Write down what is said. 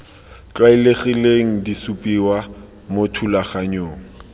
tlwaelegileng di supiwa mo thulaganyong